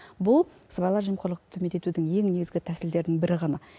бұл сыбайлас жемқорлықты төмендетудің ең негізгі тәсілдерінің бірі ғана